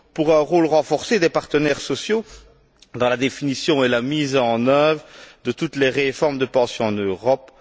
pour un rôle renforcé des partenaires sociaux dans la définition et la mise en œuvre de toutes les réformes des pensions en Europe